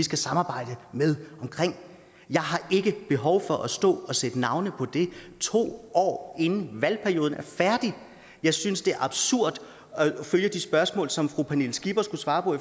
skal samarbejde med jeg har ikke behov for at stå og sætte navne på det to år inden valgperioden er færdig jeg synes det er absurd at høre de spørgsmål som fru pernille skipper skulle svare på